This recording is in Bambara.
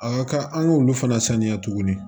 A ka kan an k'olu fana saniya tuguni